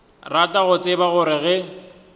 rata go tseba gore ge